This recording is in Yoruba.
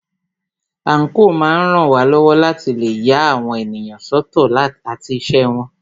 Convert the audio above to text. Àńkò máa ń ràn wá lọ́wọ́ láti lè ya àwọn ènìyàn sọ́tọ̀ àti iṣẹ́ wọn.